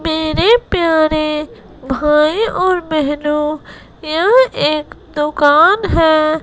मेरे प्यारे भाई और बहनों यह एक दोकन है।